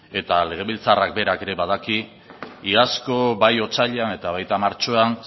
eta legebiltzarrak berak ere badaki iazko bai otsailean eta baita martxoan